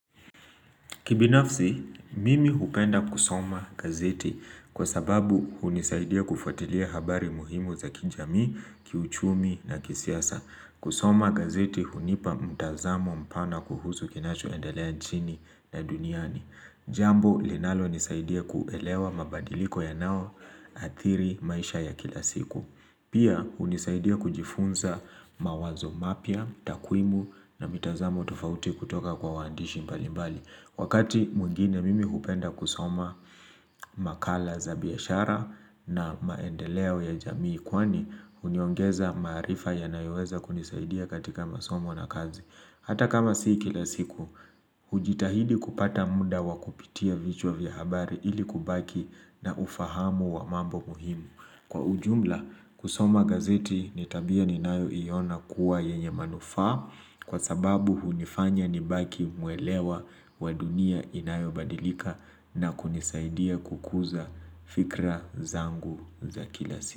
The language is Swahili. Kibinafsi, mimi hupenda kusoma gazeti kwa sababu hunisaidia kufuatilia habari muhimu za kijamii, kiuchumi na kisiasa. Kusoma gazeti hunipa mtazamo mpana kuhusu kinachoendelea nchini na duniani. Jambo linalonisaidia kuelewa mabadiliko yanaoathiri maisha ya kila siku. Pia, hunisaidia kujifunza mawazo mapya, takwimu na mitazamo tufauti kutoka kwa waandishi mbalimbali. Wakati mwingine mimi hupenda kusoma makala za biashara na maendeleo ya jamii kwani huniongeza maarifa yanayoweza kunisaidia katika masomo na kazi. Hata kama si kila siku, hujitahidi kupata muda wa kupitia vichwa vya habari ili kubaki na ufahamu wa mambo muhimu. Kwa ujumla kusoma gazeti ni tabia ninayoiona kuwa yenye manufaa kwa sababu hunifanya nibaki mwelewa wa dunia inayobadilika na kunisaidia kukuza fikra zangu za kila siku.